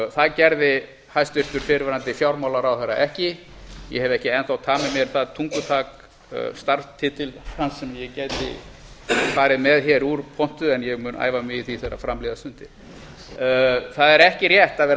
það gerði hæstvirtur fyrrverandi fjármálaráðherra ekki ég hef ekki enn þá tamið mér það tungutak starfstitils hans sem ég gæti farið með hér úr pontu en ég mun æfa mig í því þegar fram líða stundir það er ekki rétt að vera að